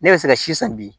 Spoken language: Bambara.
Ne bɛ se ka si san bi